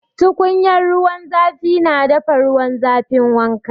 Tukunyar ruwan zafi na dafa ruwan zafin wanka.